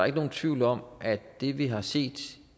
ikke nogen tvivl om at det vi har set